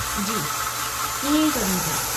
जी, इएं ई करियूं था।